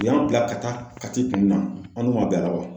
U y'an bila ka taa kati kun na an dun ma bɛn a la wa?